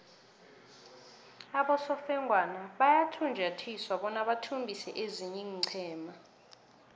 abosofengwana bayafunjathiswa bona bathumbise ezinye iinqhema